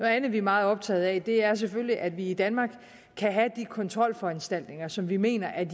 andet vi er meget optaget af er selvfølgelig at vi i danmark kan have de kontrolforanstaltninger som vi mener er